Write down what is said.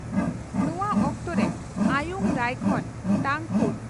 ᱱᱚᱣᱟ ᱚᱠᱛᱚᱨᱮ ᱟᱭᱩᱝ ᱨᱟᱭᱠᱷᱚᱱ (ᱛᱟᱝᱠᱷᱩᱲ)